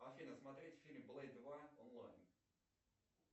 афина смотреть фильм блейд два онлайн